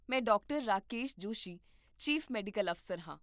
ਮੈਂ doctor Rakesh Joshi, chief medical ਅਫ਼ਸਰ ਹਾਂ